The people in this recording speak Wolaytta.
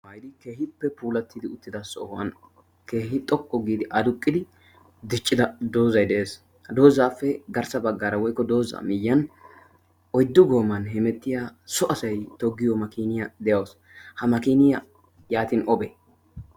Keehippe puulatidi uttida sohuwa keehi xoqqu giidi adduqqidi diccida doozay de'ees. ha doozappe garssa baggara woykko dooza miyyiyaan oyddu gooman hemettiya so asaa toggiyo makiniyaa de'aawus. ha makiniyaa yaatin obe?